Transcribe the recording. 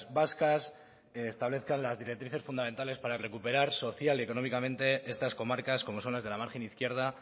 vascas establezcan las directrices fundamentales para recuperar social y económicamente estas comarcas como son las de la margen izquierda